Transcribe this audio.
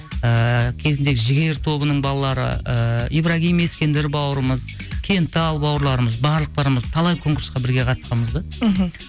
ііі кезіндегі жігер тобының балалары ііі ибрагим ескендір бауырымыз кентал бауырларымыз барлықтарымыз талай конкурсқа бірге қатысқанбыз да мхм